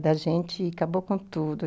da gente e acabou com tudo.